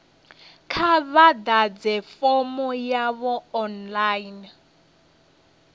kha vha ḓadze fomo yavho online